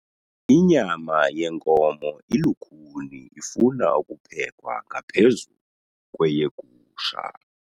Inyama yenkomo ilukhuni ifuna ukuphekwa ngaphezu kweyegusha.